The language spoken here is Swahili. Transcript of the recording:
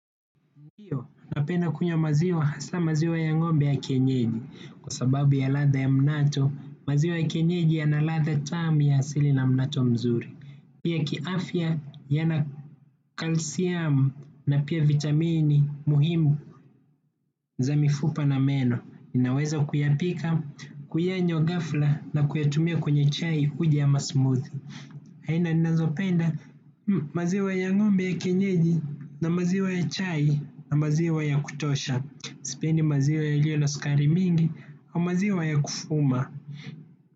Ndiyo, napenda kunywa maziwa, hasa maziwa ya ngombe ya kienyeji, kwa sababu ya ladha ya mnato, maziwa ya kienyeji ya na ladha tamu ya asili na mnato mzuri. Pia kiafya, yana kalsiam na pia vitamini muhimu za mifupa na meno. Ninaweza kuyapika, kuyanywa ghafla na kuyatumia kwenye chai uji ama smoothie. Aina ninazopenda maziwa ya ngombe ya kienyeji na maziwa ya chai na maziwa ya kutosha. Sipendi maziwa yaliyo na sukari mingi au maziwa ya kufuma.